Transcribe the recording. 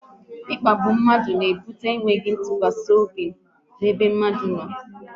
Ịkpagbu mmadụ n'ebute mmadụ enweghị ntụkwasị obi n'onwe ya